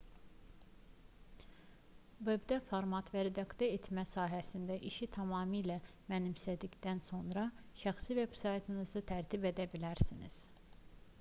vebdə format və redaktə etmə sahəsində işi tamamilə mənimsədikdən sonra şəxsi veb-saytınızı tərtib edə bilərsiniz